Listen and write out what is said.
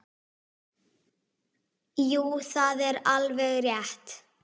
Jú, það er alveg rétt.